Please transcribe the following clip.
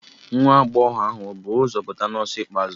Nwa agbọghọ ahụ ọ̀ bu ụzọ pụta n'ọsọ ikpeazụ?